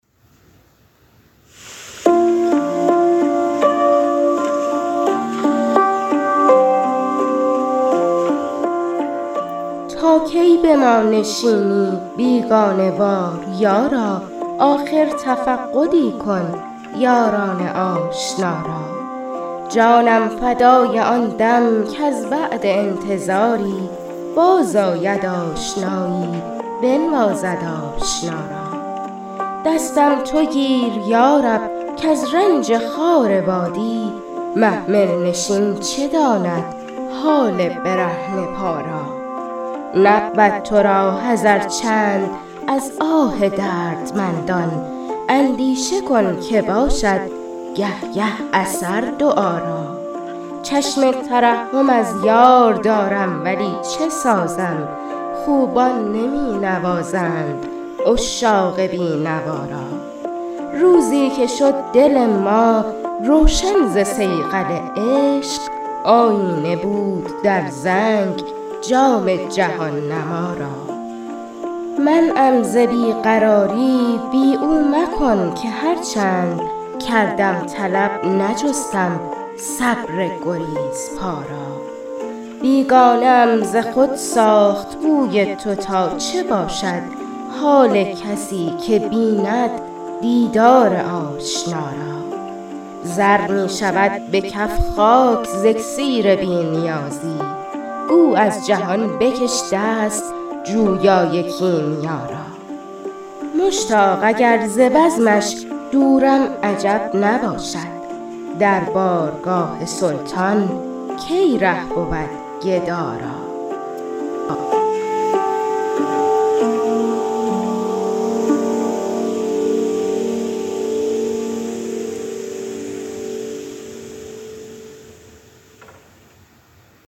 تا کی به ما نشینی بیگانه وار یارا آخر تفقدی کن یاران آشنا را جانم فدای آن دم کز بعد انتظاری باز آید آشنایی بنوازد آشنا را دستم تو گیر یارب کز رنج خار وادی محمل نشین چه داند حال برهنه پا را نبود ترا حذر چند از آه دردمندان اندیشه کن که باشد گه گه اثر دعا را چشم ترحم از یار دارم ولی چه سازم خوبان نمی نوازند عشاق بی نوا را روزی که شد دل ما روشن ز صیقل عشق آیینه بود در زنگ جام جهان نما را منعم ز بی قراری بی او مکن که هرچند کردم طلب نجستم صبر گریزپا را بیگانه ام ز خود ساخت بوی تو تا چه باشد حال کسی که بیند دیدار آشنا را زر می شود به کف خاک ز اکسیر بی نیازی گو از جهان بکش دست جویای کیمیا را مشتاق اگر ز بزمش دورم عجب نباشد در بارگاه سلطان کی ره بود گدا را